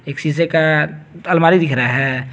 एक शीशे का अलमारी दिख रहा है।